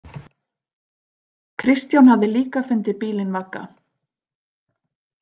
Kristján hafði líka fundið bílinn vagga.